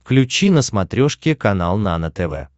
включи на смотрешке канал нано тв